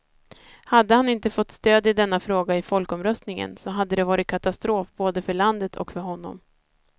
Hade han inte fått stöd i denna fråga i folkomröstningen, så hade det varit katastrof både för landet och för honom.